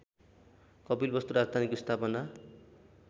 कपिलवस्तु राजधानीको स्थापना